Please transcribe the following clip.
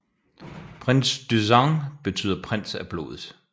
Prince du sang betyder prins af blodet